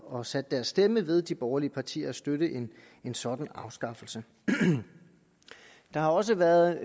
og sat deres stemme ved de borgerlige partier at støtte en sådan afskaffelse der har også været